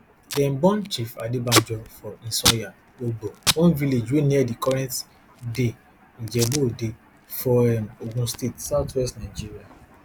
dem born chief adebanjo for isanya ogbo one village wey near di current day ijebu ode for um ogun state southwest nigeria